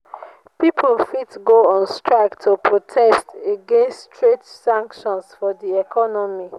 pipo fit go on strike to protest against trade sanctions for di economy